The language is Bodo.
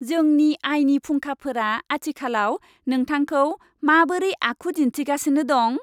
जोंनि आयनि फुंखाफोरा आथिखालाव नोंथांखौ माबोरै आखु दिन्थिगासिनो दं?